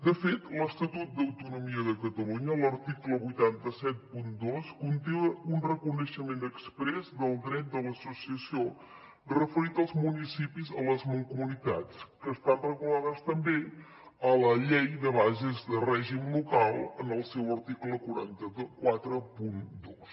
de fet l’estatut d’autonomia de catalunya a l’article vuit cents i setanta dos conté un reconeixement exprés del dret de l’associació referit als municipis a les mancomunitats que estan regulades també a la llei de bases de règim local en el seu article quatre cents i quaranta dos